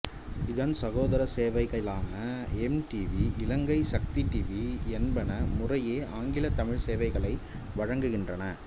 இதன் சகோதர சேவைகளான எம் டிவி இலங்கை சக்தி டிவி என்பன முறையே ஆங்கில தமிழ் சேவைகளை வழங்குகின்றன